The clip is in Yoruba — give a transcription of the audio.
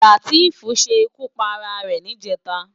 Lateef ṣé ikú párá ré nijètá